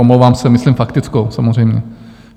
Omlouvám se, myslím faktickou samozřejmě.